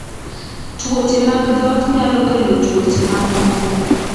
Tuoche mag dhok nyalo kelo tuoche ma moko.